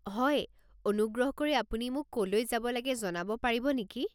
হয়, অনুগ্ৰহ কৰি আপুনি মোক ক'লৈ যাব লাগে জনাব পাৰিব নেকি?